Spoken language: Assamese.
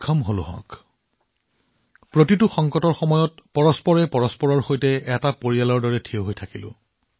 আমি প্ৰতিটো কঠিন সময়ত পৰিয়ালৰ দৰে ইজনে সিজনৰ সৈতে থিয় হৈছিলো